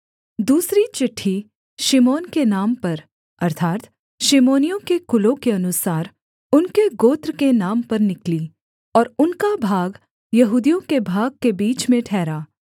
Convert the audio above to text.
दूसरी चिट्ठी शिमोन के नाम पर अर्थात् शिमोनियों के कुलों के अनुसार उनके गोत्र के नाम पर निकली और उनका भाग यहूदियों के भाग के बीच में ठहरा